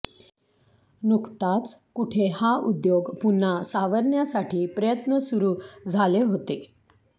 नुकताच कुठे हा उद्योग पुन्हा सावरण्यासाठी प्रयत्न सुरू झाले होते